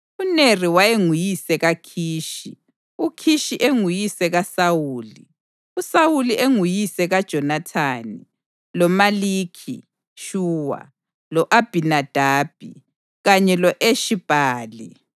UNeri wayenguyise kaKhishi, uKhishi enguyise kaSawuli, uSawuli enguyise kaJonathani, loMalikhi-Shuwa, lo-Abhinadabi kanye lo-Eshi-Bhali.